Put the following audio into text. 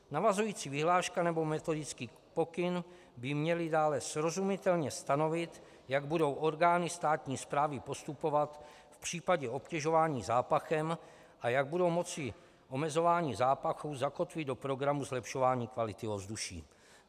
Navazující vyhláška nebo metodický pokyn by měly dále srozumitelně stanovit, jak budou orgány státní správy postupovat v případě obtěžování zápachem a jak budou moci omezování zápachu zakotvit do programu zlepšování kvality ovzduší.